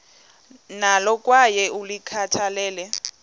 nalo kwaye ulikhathalele